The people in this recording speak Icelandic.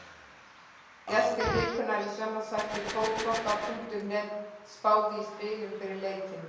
Gestir vikunnar í sjónvarpsþætti Fótbolta.net spáðu í spilin fyrir leikinn.